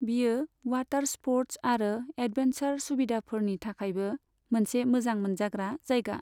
बेयो water sports आरो adventure सुबिदाफोरनि थाखायबो मोनसे मोजां मोनजाग्रा जायगा।